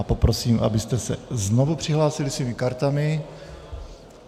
A poprosím, abyste se znovu přihlásili svými kartami.